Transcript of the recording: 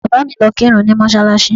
Bàbá mi lọ kírun ní mọ́ṣáláṣí